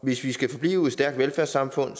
hvis vi skal forblive et stærkt velfærdssamfund